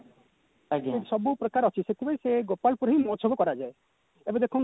ସେଠି ସବୁ ପ୍ରକାର ଅଛି ସେଥିପାଇଁ ସେ ଗୋପାଳପୁରରେ ହିଁ ମହୋତ୍ସବ କରାଯାଏ ଏବେ ଦେଖନ୍ତୁ